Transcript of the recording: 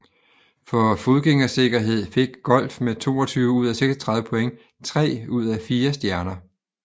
For fodgængersikkerhed fik Golf med 22 ud af 36 point tre ud af fire stjerner